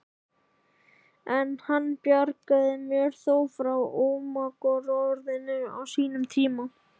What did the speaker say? En hann bjargaði mér þó frá ómagaorðinu á sínum tíma.